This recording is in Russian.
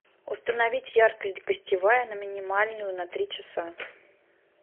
установить яркость гостевая на минимальную на три часа